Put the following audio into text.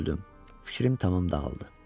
Fikrim tamam dağıldı.